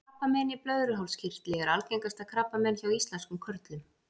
krabbamein í blöðruhálskirtli er algengasta krabbamein hjá íslenskum körlum